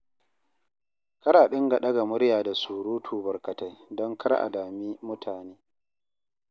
Kar a dinga ɗaga murya da surutu barkatai don kar a dami mutane.